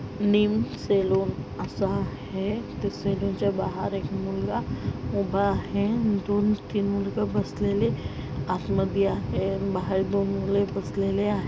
नीम salon असा है त्या सलोन च्या बाहेर एक मुलगा उभा आहे अन दोन तीन मुलगा बसलेले आत मधी आहे अन बाहेर दोन मुलं बसलेले आहे.